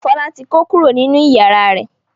Fọlá ti kó kúrò nínú ìyàrá rẹ̀.